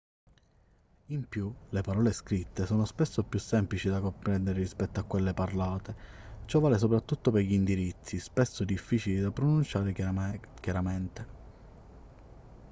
in più le parole scritte sono spesso più semplici da comprendere rispetto a quelle parlate ciò vale soprattutto per gli indirizzi spesso difficili da pronunciare chiaramente